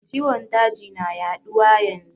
Ciwon daji na yaɗuwa yanzu